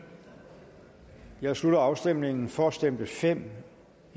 jeg slutter afstemningen for stemte fem